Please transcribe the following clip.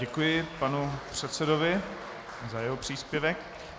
Děkuji panu předsedovi za jeho příspěvek.